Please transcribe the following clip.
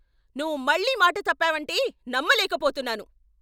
నువ్వు మళ్ళీ మాట తప్పావంటే నమ్మలేకపోతున్నాను.